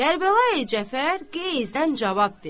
Kərbəlayı Cəfər qəyzindən cavab verdi.